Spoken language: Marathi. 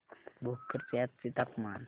भोकर चे आजचे तापमान